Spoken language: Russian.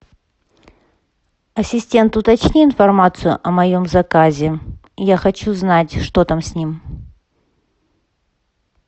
ассистент уточни информацию о моем заказе я хочу знать что там с ним